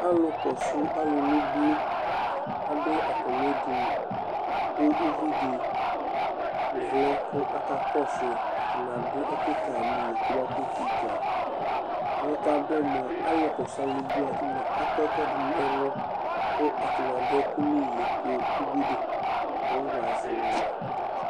Alʋkɔsʋ alʋ nʋ ubui, adʋ atamɩ edini kʋ uvi dɩ vlɛ kʋ akakɔsʋ yɩ Atanɩ adʋ ɛkʋ ka yɩ nʋ iyo kɔbakʋtʋ dzuǝ Ɛkʋ yɛ kʋ adʋ yɛ mʋa, alʋkɔsʋ alʋ wanɩ nʋ ubui wanɩ akɔ ɛkʋɛdɩ nʋ ɛlʋ kʋ atanɩ adʋ ɛkʋ nʋ iyo kʋ ubui dɩ kɔfamazɛ ma mɛ